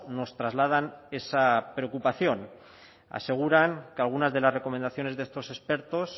nos trasladan esa preocupación aseguran que algunas de las recomendaciones de estos expertos